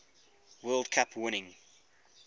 world cup winning